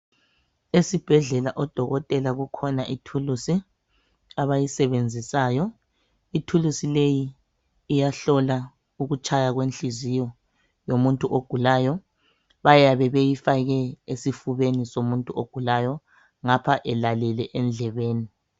Esibhedlela odokotela kukhona ithulusi abayisebenzisayo. Ithulusi leyi, iyahlola ukutshaya kwenhliziyo yomuntu ogulayo. Bayabe beyifake esifubeni somuntu ogulayo, ngapha elalele endlebeni.